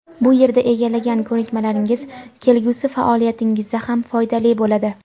bu yerda egallagan ko‘nikmalaringiz kelgusi faoliyatingizda ham foydali bo‘ladi.